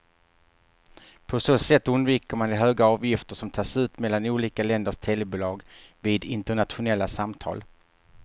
På så sätt undviker man de höga avgifter som tas ut mellan olika länders telebolag vid internationella samtal.